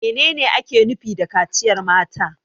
Menene ake nufi da kaciyar mata?